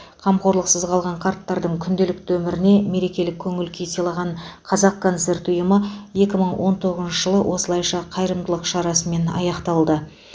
қамқорлықсыз қалған қарттардың күнделікті өміріне мерекелік көңіл күй сыйлаған қазақконцерт ұйымы екі мың он тоғызыншы жылды осылайша қайырымдылық шарасымен аяқтады